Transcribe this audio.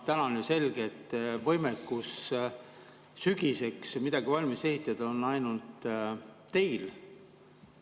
Täna on ju selge, et võimekus sügiseks midagi valmis ehitada on ainult teil.